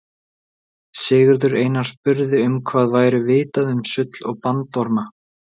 sigurður einar spurði um hvað væri vitað um sull og bandorma